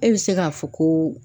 E bɛ se k'a fɔ ko